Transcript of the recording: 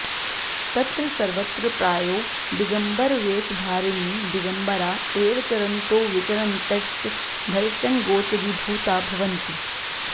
तत्र सर्वत्र प्रायो दिगम्बरवेषधारिणी दिगम्बरा एव चरन्तो विचरन्तश्च दर्शनगोचरीभूता भवन्ति